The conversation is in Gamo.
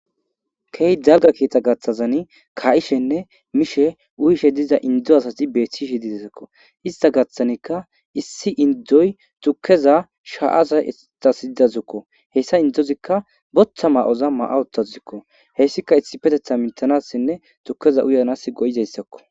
Keehi dalga keetha gaththazani ka7ishenne miishe uyishe diza indo asati beethishi didesakko ista gaththanikka issi indoy tukkeza sha7aza easidazukko hessa indozikka boththa ma7oza ma7awotazikko hessika issi petetha mintanassinne tukeza uyanas go7izayssakko